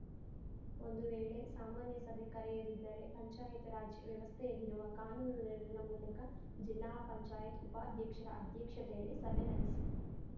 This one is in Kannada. ಒಂದು ವೇಳೆ ಸಾಮಾನ್ಯ ಸಭೆ ಕರೆಯದಿದ್ದರೆ ಪಂಚಾಯತ್‌ ರಾಜ್‌ ವ್ಯವಸ್ಥೆಯಲ್ಲಿರುವ ಕಾನೂನು ನೆರವಿನ ಮೂಲಕ ಜಿಲ್ಲಾ ಪಂಚಾಯತ್ ಉಪಾಧ್ಯಕ್ಷರ ಅಧ್ಯಕ್ಷತೆಯಲ್ಲಿ ಸಭೆ ನಡೆಸಿ